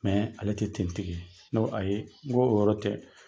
Mɛ ale tɛ teni tigi ye ne ko ayi n'o yɔrɔ tɛ